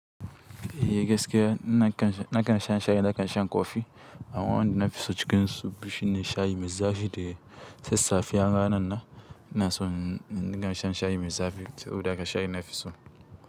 Eh gaskiya ina kan, na kan shan shayi, na kan shan kofi. Amma wanda na fi so cikin su, shine shayi mai zafi da sassafe. Har ranan na, ina son in dinga shan shayi mai zafi saboda haka shayi na fi so.